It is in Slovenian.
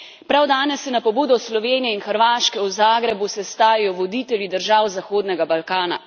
Prav danes se na pobudo Slovenije in Hrvaške v Zagrebu sestajajo voditelji držav Zahodnega Balkana.